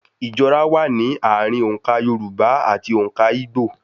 Ìjọra wà ní ààrùn òǹkà Yorùbá ati òǹkà Igbó.